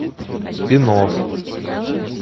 спин офф